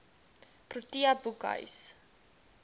protea boekhuis